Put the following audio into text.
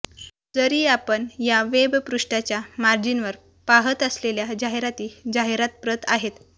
जरी आपण या वेबपृष्ठाच्या मार्जिनवर पाहत असलेल्या जाहिराती जाहिरात प्रत आहेत